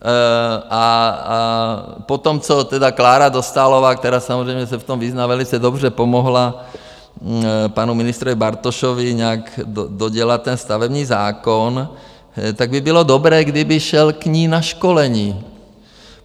A potom, co tedy Klára Dostálová, která samozřejmě se v tom vyzná velice dobře, pomohla panu ministrovi Bartošovi nějak dodělat ten stavební zákon, tak by bylo dobré, kdyby šel k ní na školení.